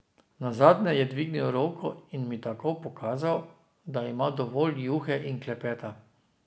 Nazadnje je dvignil roko in mi tako pokazal, da ima dovolj juhe in klepeta.